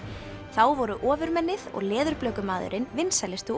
þá voru ofurmennið og Leðurblökumaðurinn vinsælustu